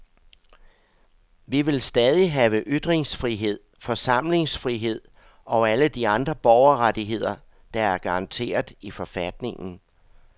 Vi vil stadig have ytringsfrihed, forsamlingsfrihed og alle de andre borgerrettigheder, der er garanteret i forfatningen.